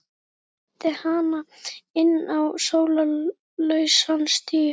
Jón leiddi hana inn á sólarlausan stíg.